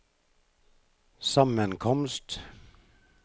sammenkomst